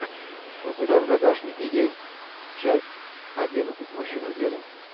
у тебя в загашнике есть часть одиннадцать мужчина в деле